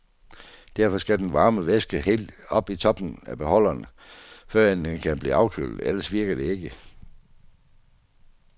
Derfor skal den varme væske helt op i toppen af beholderen, før end den kan blive afkølet, ellers virker det ikke.